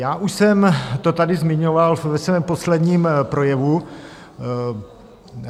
Já už jsem to tady zmiňoval ve svém posledním projevu.